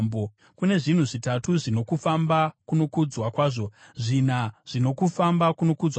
“Kune zvinhu zvitatu zvino kufamba kunokudzwa kwazvo, zvina zvino kufamba kunokudzwa kwazvo;